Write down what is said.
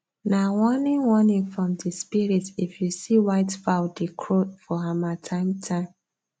nah warning warning from the spirit if you see white fowl dey crow for harmattan time